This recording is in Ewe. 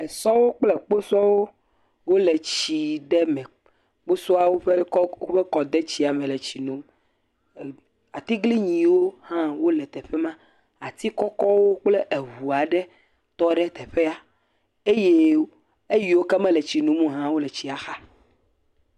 Esɔwo kple kposɔwo wole tsi ɖe me, kposɔawo ƒe kɔ kɔ…kɔ…kɔ…k.. kɔ de tsi me le tsi nom, atiglinyiwo hã wole teƒe ma ati kɔkɔwo kple eŋu aɖe tɔ ɖe teƒea eye eyiwo ke mele tsi nom o la tɔ ɖe eŋu la xa.